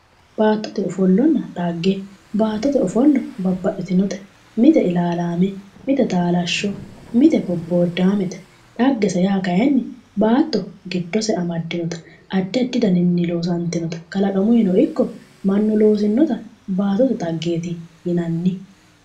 Baatote ofollonna xagge baattote ofollo babbaxitinote mite ilaalaame mite taalashsho mite bobboodaamete xagese yaa kaayiinni baatto giddose amaddinota addi addi daninni loosantinota kalaqamuyino ikko mannu loosinnota baattote xaggeeti yinanni.